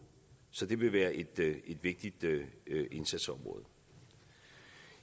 så det vil være et vigtigt indsatsområde